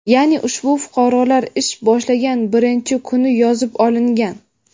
ya’ni ushbu fuqarolar ish boshlagan birinchi kuni yozib olingan.